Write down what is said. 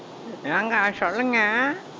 ஏங்க சொல்லுங்க